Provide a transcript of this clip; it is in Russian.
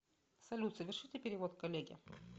салют совершите перевод коллеге